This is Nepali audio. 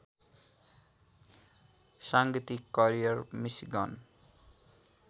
साङ्गीतिक करियर मिसिगन